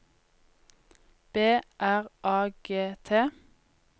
B R A G T